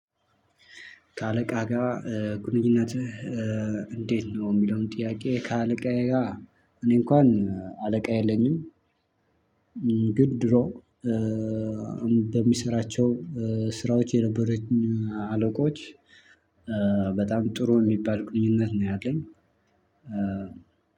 ከአለቃ ጋር ግንኙነትህ እንዴት ነው የሚለውን ጥያቄ? ከአለቃዬ ጋር እኔ እንኳን አለቃ የለኝም። ግን ድሮ እንደሚሰራቸው ስራዎች የነበረኝ አለቆች በጣም ጥሩ የሚባል ግንኙነት ነው። ያለኝ